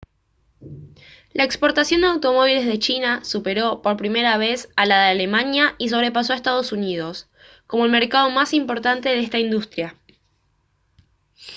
la exportación de automóviles de china superó por primera vez a la de alemania y sobrepasó a ee uu como el mercado más importante de esta industria